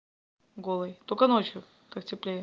голый только ночью так теплее